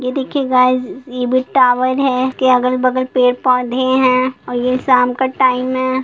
ये देखिए गाइज ये भी टावर है के अगल- बगल पेड़-पौधे हैं और ये शाम का टाइम है।